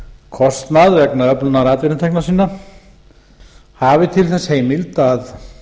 kostnað vegna öflunar atvinnutekna sinna hafi til þess heimild að